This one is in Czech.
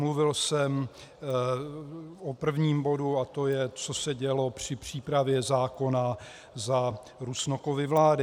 Mluvil jsem o prvním bodu, a to je, co se dělo při přípravě zákona za Rusnokovy vlády.